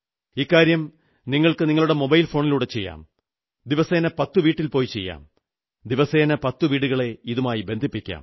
ഇക്കാര്യം നിങ്ങൾക്ക് നിങ്ങളുടെ മൊബൈൽ ഫോണിലൂടെ ചെയ്യാം ദിവസേന പത്തു വീട്ടിൽ പോയി ചെയ്യാം ദിവസേന പത്തു വീടുകളെ ഇതുമായി ബന്ധിപ്പിക്കാം